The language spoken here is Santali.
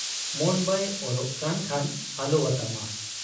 ᱢᱚᱱ ᱵᱟᱭ ᱟᱨᱚᱜ ᱠᱟᱱ ᱠᱷᱟᱱ ᱟᱞᱚᱣᱟᱛᱟᱢᱟ ᱾